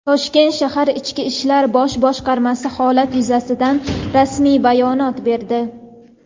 Toshkent shahar Ichki ishlar bosh boshqarmasi holat yuzasidan rasmiy ma’lumot berdi.